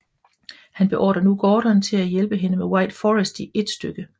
Han beordrer nu Gordon til at hjælpe hende til White Forest i ét stykke